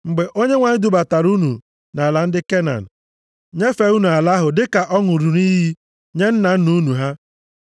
“Mgbe Onyenwe anyị dubatara unu nʼala ndị Kenan, nyefee unu ala ahụ dịka ọ ṅụrụ nʼiyi nye nna nna unu ha,